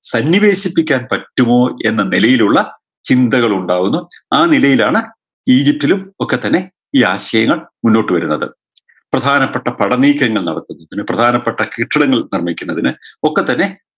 സന്നിവേശിപ്പിക്കാൻ പറ്റുമോ എന്ന നിലയിലുള്ള ചിന്തകളുണ്ടാവുന്നു ആ നിലയിലാണ് ഈജിപ്തിലും ഒക്കെ തന്നെ ഈ ആശയങ്ങൾ മുഞ്ഞോട്ട് വരുന്നത് പ്രധാനപ്പെട്ട പടനീക്കങ്ങൾ നടത്തുന്നതിന് പ്രധാനപ്പെട്ട കെട്ടിടങ്ങൾ നിർമ്മിക്കുന്നതിന് ഒക്കെ തന്നെ